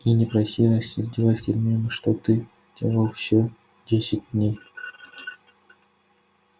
и не проси рассердилась гермиона что ты делал все десять дней